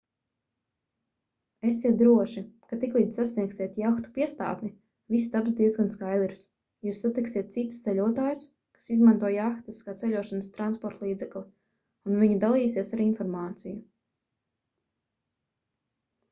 esiet droši ka tiklīdz sasniegsiet jahtu piestātni viss taps diezgan skaidrs jūs satiksiet citus ceļotājus kas izmanto jahtas kā ceļošanas transportlīdzekli un viņi dalīsies ar informāciju